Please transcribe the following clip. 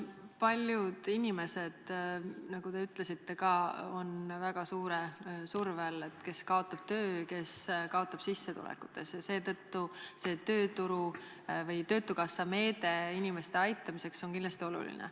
Paljud inimesed, nagu teiegi ütlesite, on väga suure surve all – kes kaotab töö, kes kaotab sissetulekutes – ja seetõttu see töötukassa meede inimeste aitamiseks on kindlasti oluline.